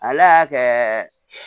Ala y'a kɛ